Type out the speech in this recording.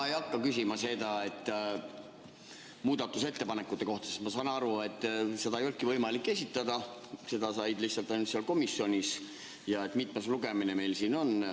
Ma ei hakka küsima muudatusettepanekute kohta, sest ma saan aru, et neid ei olnudki võimalik esitada – seda sai teha ainult seal komisjonis –, ega seda, mitmes lugemine meil siin on.